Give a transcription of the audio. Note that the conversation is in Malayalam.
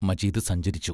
മജീദ് സഞ്ചരിച്ചു.